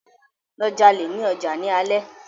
Lọ jalè ní ọjà ní alé!